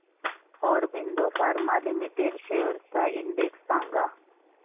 Aurobindo pharma limited shares चा index सांगा